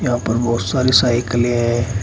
ऊपर बहोत सारी साइकलें है।